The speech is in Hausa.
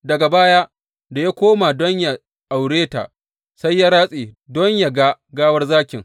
Daga baya, da ya koma don yă aure ta, sai ya ratse don yă ga gawar zakin.